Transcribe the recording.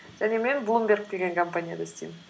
және мен блумберг деген компанияда істеймін